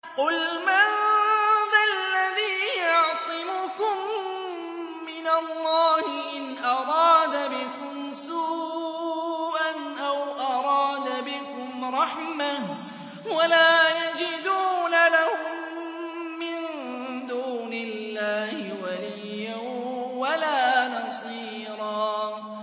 قُلْ مَن ذَا الَّذِي يَعْصِمُكُم مِّنَ اللَّهِ إِنْ أَرَادَ بِكُمْ سُوءًا أَوْ أَرَادَ بِكُمْ رَحْمَةً ۚ وَلَا يَجِدُونَ لَهُم مِّن دُونِ اللَّهِ وَلِيًّا وَلَا نَصِيرًا